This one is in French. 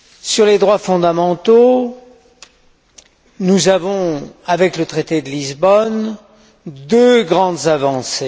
Sur les droits fondamentaux, nous avons, avec le traité de Lisbonne, deux grandes avancées.